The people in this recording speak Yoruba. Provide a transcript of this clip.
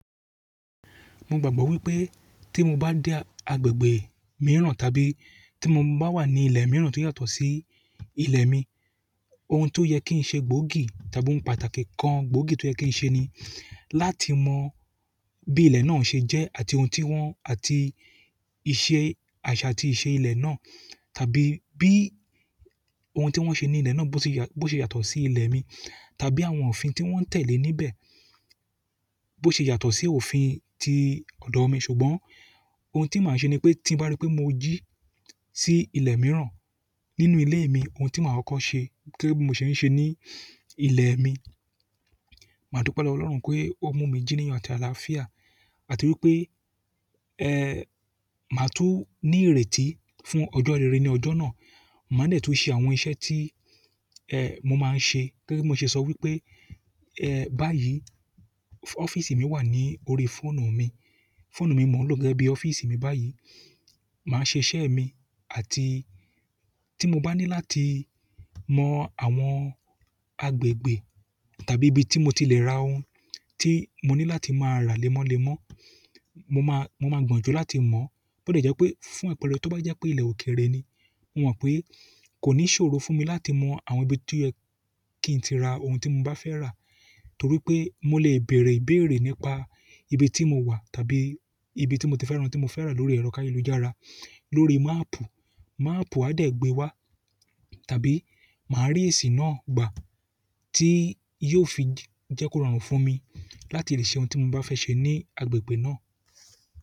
Mo gbàgbọ́ wípé tí mo bá dé agbègbè mìíràn, tàbí tí mo bá wà ní ilẹ̀ mìíràn tí ó yàtọ̀ sí ilẹ̀ mi, oun tó yẹ kín ṣe gbóògì, tàbí oun pàtàkì kan gbóògì tó yẹ kín ṣe ni láti mo bí ilẹ̀ náà ṣe jẹ́ àti oun tí wọ́n, àti ìṣe àṣà àti ìṣe ilẹ̀ náà, tàbí bí oun tí wọ́n ṣe ní ilẹ̀ náà bó ṣe yàtọ̀ sí ilẹ̀ mi, tàbí àwọn òfin tí wọ́n ń tẹ̀lé níbẹ̀ bó ṣe yàtọ̀ sí òfin ti ọ̀dọ̀ mi. Ṣùgbọ́n oun tí màá ṣe ni pé tí n bá rí pé mo jí sí ilẹ̀ mìíràn nínú ilé mi, oun tí màá koko ṣe, gẹ́gẹ́ bi mo se n ṣe ní ilẹ̀ mi, màá dupe lowo Ọlọ́run pé ó mú mi jí ní ayo àti àlàáfíà, àti wípé, ẹ́, màá tú ní ìrètí fún ọjọ́ rere ní ọjọ́ náà. Màá de tun ṣe àwọn iṣẹ́ tí, ẹ́, mo máa ń ṣe. Gẹ́gẹ́ bi mo ṣe sọ wípé, ẹ́, báyìí, ọ́fíísì mi wà ní orí fóònù mi. Fóònù mi mọ̀ọ́ lọ́ gẹ́gẹ́ bí ọ́fíísì mi báyìí. Màá ṣe iṣẹ́ mi àti tí mo bá ní láti mọ àwọn agbègbè tàbí ibi tí mo tilẹ̀ ra oun tí mo ní láti máa rà lẹ́mọ́lẹ́mọ́, mo máa gbọ̀njú láti mọ̀. Bo de jẹ́ pé fún àpẹẹrẹ tó bá jẹ́ pé ilẹ̀ òkèrè ni, mo mọ̀ pé kò ní ṣòro fún mi láti mọ àwọn ibi tí ó yẹ kín ti ra oun tí mo bá fẹ́ rà torí pé mo lè bèèrè ìbéèrè nípa ibi tí mo wà tàbí ibi tí mo ti fẹ́ rán tí mo fẹ́ rà lórí ẹrọ̀ káye lujára, lórí máàpù. Máàpù á dẹ̀ gbe wá tàbí màá rí èsì náà gbà tí yóò fi jẹ́ kó rọrùn fún mi láti lè ṣe oun tí mo bá fẹ́ ṣe ní agbègbè náà.